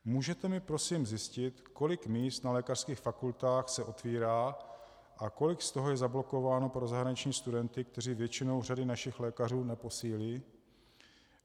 Můžete mi prosím zjistit, kolik míst na lékařských fakultách se otevírá a kolik z toho je zablokováno pro zahraniční studenty, kteří většinou řady našich lékařů neposílí?